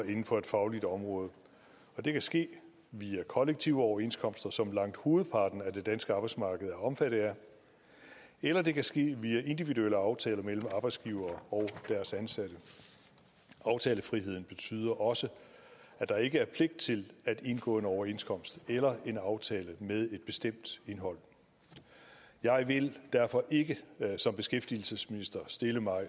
inden for et fagligt område det kan ske via kollektive overenskomster som langt hovedparten af det danske arbejdsmarked er omfattet af eller det kan ske via individuelle aftaler mellem arbejdsgivere og deres ansatte aftalefriheden betyder også at der ikke er pligt til at indgå en overenskomst eller en aftale med et bestemt indhold jeg vil derfor ikke som beskæftigelsesminister stille mig